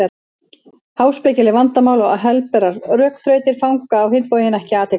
Háspekileg vandamál og helberar rökþrautir fanga á hinn bóginn ekki athygli hans.